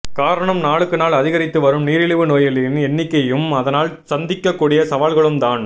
காரணம் நாளுக்கு நாள் அதிகரித்து வரும் நிரிழிவு நோயாளிகளின் எண்ணிகையும் அதனால் சந்திக்க கூடிய சவால்களும் தான்